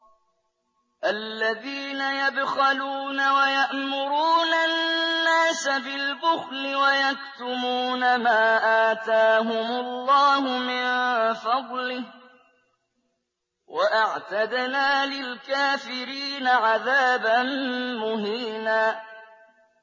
الَّذِينَ يَبْخَلُونَ وَيَأْمُرُونَ النَّاسَ بِالْبُخْلِ وَيَكْتُمُونَ مَا آتَاهُمُ اللَّهُ مِن فَضْلِهِ ۗ وَأَعْتَدْنَا لِلْكَافِرِينَ عَذَابًا مُّهِينًا